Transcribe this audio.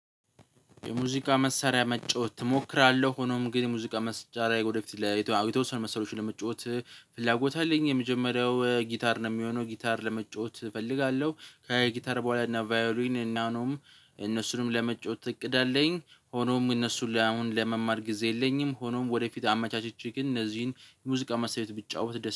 የሙዚቃ መሳሪያ መጫወት እሞክራለሁ ሆኖም ግን የሙዚቃ መሳሪያ ወደፊት ለየተወሰኑ መሳሪያዎች ለመጫወት ፍላጎት አለኝ። የመጀመሪያው ጊታር ነው የሚሆነው ጊታር ለመጫወት እፈልጋለሁ። ከጊታር በኋላ እና ቫዮሊን እና እነሱንም ለመጫወት እቅድ አለኝ። ሆኖም እነሱን አሁን ለመማር ጊዜ የለኝም። ሆኖም ወደፊት አመቻችቼ ግን እነዚህን ሙዚቃ መሳርያዎች ብትጫወት